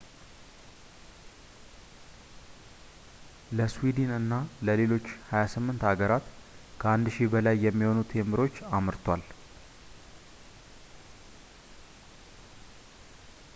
ለስዊድን እና ለሌሎች 28 ሀገራት ከ1,000 በላይ የሚሆኑ ቴምብሮችን አምርቷል